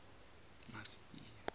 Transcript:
masibiya